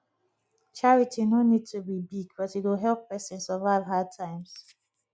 charity no need to be big but e go help person survive hard times